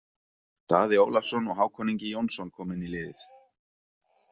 Daði Ólafsson og Hákon Ingi Jónsson koma inn í liðið.